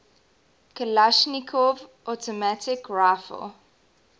kalashnikov automatic rifle